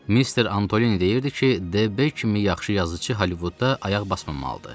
Mister Antoni deyirdi ki, D B kimi yaxşı yazıçı Hollywoodda ayaq basmamalıdır.